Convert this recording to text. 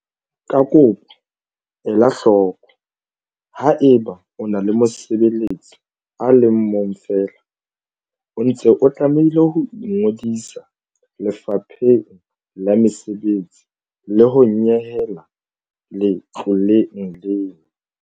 Ka kopo, ela hloko, Haeba o na le mosebeletsi a le mong feela, o ntse o tlamehile ho ingodisa Lefapheng la Mesebetsi le ho nyehela letloleng lena.